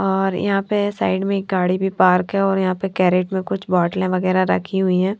और यहाँं पर साइड में एक गाड़ी भी पार्क है और यहाँं पर कैरेट में कुछ बोटले वगैरा रखी हुई हैं।